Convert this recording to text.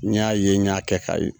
N y'a ye n y'a kɛ k'a ye.